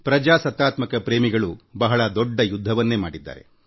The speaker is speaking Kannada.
ಪ್ರಜಾಪ್ರಭುತ್ವದಲ್ಲಿ ನಂಬಿಕೆ ಇಟ್ಟವರು ದೀರ್ಘ ಯುದ್ಧವನ್ನೇ ಮಾಡಿದ್ದಾರೆ